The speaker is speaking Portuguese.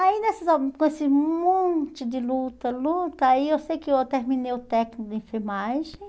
Aí, nessas com esse monte de luta, luta, aí eu sei que eu terminei o técnico de enfermagem.